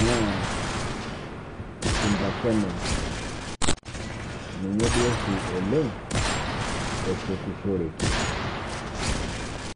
naa simba cement. Ninye doo shii oleng ashetishoreki.